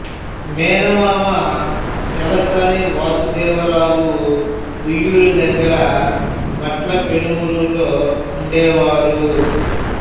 మేనమామ చలసాని వాసుదేవరావు ఉయ్యూరు దగ్గర భట్ల పెనుమర్రులో ఉండేవారు